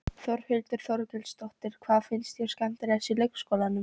Þórhildur Þorkelsdóttir: Hvað finnst þér skemmtilegast í leikskólanum?